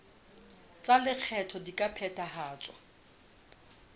tsa lekgetho di ka phethahatswa